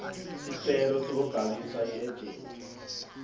sicelo sekubhalisa iejenti